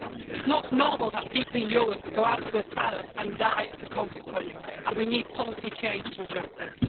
It is not normal that people in Europe go out for a salad and die as a consequence, and we need policy change to address this.